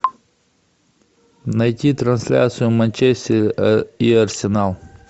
найти трансляцию манчестер и арсенал